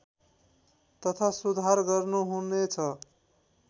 तथा सुधार गर्नुहुनेछ